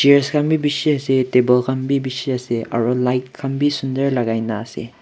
chairs khan bi bishi ase table khan bi bishi asearo light khan bi sunder lakai na ase.